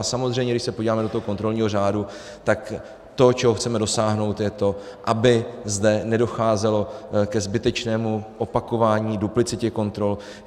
A samozřejmě, když se podíváme do toho kontrolního řádu, tak to, čeho chceme dosáhnout, je to, aby zde nedocházelo ke zbytečnému opakování, duplicitě kontrol.